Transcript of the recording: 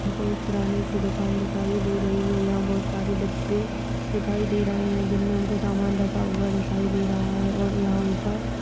हम को किराने की दुकान दिखाई दे रही है यहाँ बहोत सारे डिब्बे दिखाई दे रहे हैं जिनमे हम को सामान रखा हुआ दिखाई दे रहा है और यहाँ ऊपर --